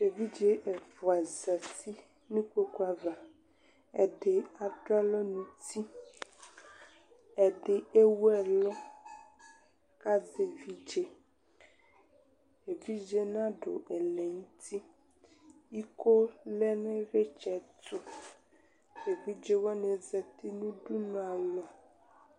evidze ɛfua zati nʊ ikpokuava, ɛdɩ aduɛlʊ nʊ uti, ɛdɩ ewuɛlʊ kʊ azɛ evidze, evidze yɛ nadʊ ɛlɛ nʊ uti, iko lɛ nʊ ivlitsɛtu, evidzewani zati nʊ udunualɔ